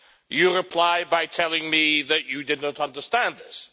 You replied by telling me that you did not understand this.